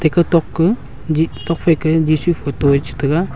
ika tok ka jit tokka phai ka jisu photo eh chitaga.